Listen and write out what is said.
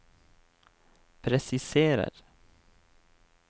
presiserer